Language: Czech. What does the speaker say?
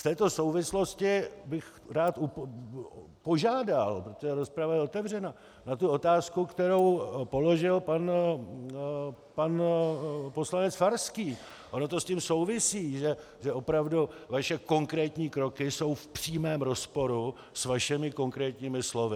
V této souvislosti bych rád požádal, protože rozprava je otevřena, na tu otázku, kterou položil pan poslanec Farský, ono to s tím souvisí, že opravdu vaše konkrétní kroky jsou v přímém rozporu s vašimi konkrétními slovy.